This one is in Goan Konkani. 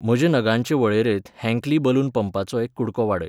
म्हजे नगांचे वळेरेंत हँकली बलून पंपाचो एक कु़डको वाडय.